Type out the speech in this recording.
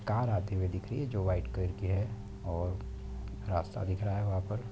Car आती हुई दिख रही हैं जो व्हाइट कलर की है और रास्ता दिख रहा हैं वहां पर।